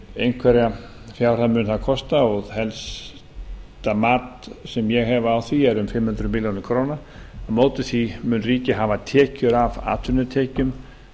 einhverja fjárhæð mun það kosta og helsta mat sem ég hef á því er um fimm hundruð milljóna króna á móti því mun ríkið hafa tekjur af atvinnutekjum